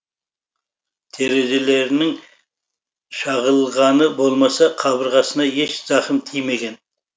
терезелерінің шағылғаны болмаса қабырғасына еш зақым тимеген